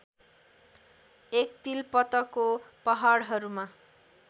एक तिलपतको पहाडहरूमा